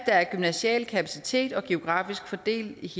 er en gymnasial kapacitet geografisk fordelt